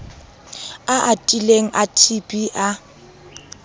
a atileng a tb a